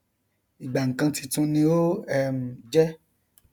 ìgbà nkan títun ni ó um jẹ